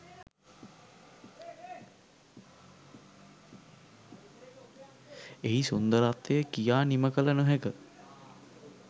එහි සුන්දරත්වය කියා නිමකළ නොහැක